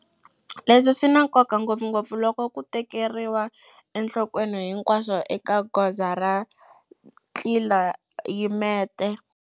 Leswi swi na nkoka ngopfungopfu loko ku tekeriwa enhlokweni hinkwaswo eka goza ra tlilayimete.